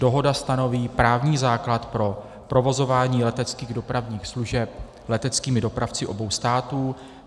Dohoda stanoví právní základ pro provozování leteckých dopravních služeb leteckými dopravci obou států.